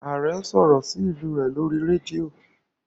Aare n sọrọ sí ilú rẹ lórí rédíò